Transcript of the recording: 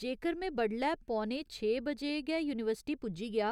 जेकर में बडलै पौने छे बजे गै यूनिवर्सिटी पुज्जी गेआ